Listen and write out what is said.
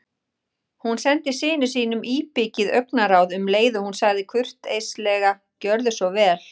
Hún sendi syni sínum íbyggið augnaráð um leið og hún sagði kurteislega: Gjörðu svo vel